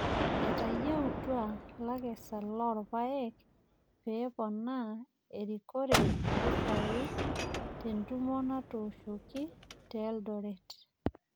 etayieutua lakesak loo irpaek pee poonaa erikore mpisai te entumo natoshoki te Eldoret